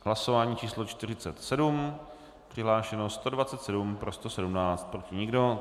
Hlasování číslo 47, přihlášeno 127, pro 117, proti nikdo.